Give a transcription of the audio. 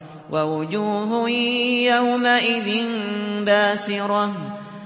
وَوُجُوهٌ يَوْمَئِذٍ بَاسِرَةٌ